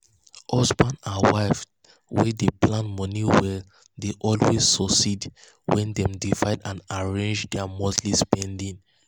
husband um and wife wey dey plan money well dey um always succeed when dem divide and arrange their monthly spending.